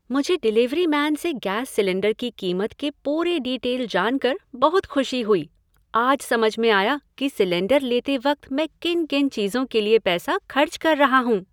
मुझे delivery man से gas cylinder की कीमत के पूरे डीटेल जानकर बहुत खुशी हुई। आज समझ में आया कि सिलेंडर लेते वक्त मैं किन किन चीजों के लिए पैसा खर्च कर रहा हूँ।